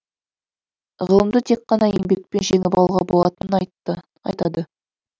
ғылымды тек қана еңбекпен жеңіп алуға болатынын айтады